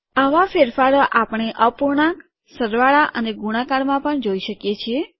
આવા ફેરફારો આપણે અપૂર્ણાંક ફ્રેકશન સરવાળા અને ગુણાકારમાં પણ જોઈ શકીએ છીએ